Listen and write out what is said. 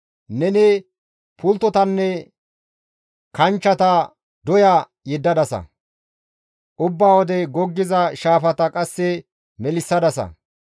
Neni pulttotanne kanchcheta doya yeddadasa; ubba wode goggiza shaafata qasse melissadasa.